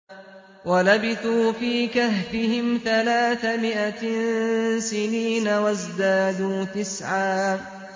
وَلَبِثُوا فِي كَهْفِهِمْ ثَلَاثَ مِائَةٍ سِنِينَ وَازْدَادُوا تِسْعًا